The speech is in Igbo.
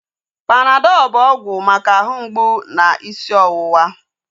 Panadọl bụ ọgwụ maka ahụ mgbụ na isi ọwụwa